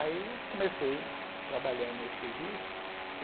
Aí comecei trabalhando nesse serviço.